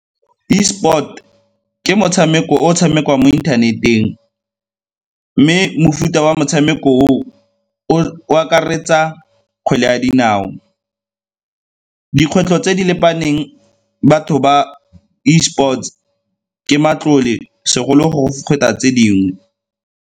Esport ke motshameko o o tshamekiwang mo internet-eng mme mofuta wa motshameko oo o akaretsa kgwele ya dinao. Dikgwetlho tse di lebaneng batho ba esports ke matlole segolo go tse dingwe.